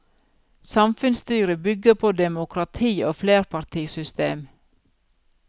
Samfunnsstyret bygger på demokrati og flerpartisystem.